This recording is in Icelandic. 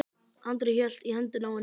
Andri hélt í hendina á henni.